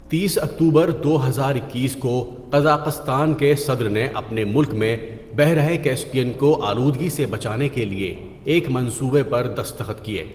تییس اکتوبر دو ہزار اکیس کو قزاقستان کے صدر نے اپنے ملک میں بحیرہ کیسپیئن کو آلودگی سے بچانے کے لیے ایک منصوبے پر دستخط کیے.